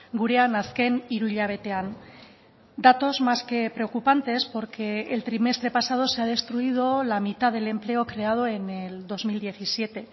gurean azken hiru hilabetean datos más que preocupantes porque el trimestre pasado se ha destruido la mitad del empleo creado en el dos mil diecisiete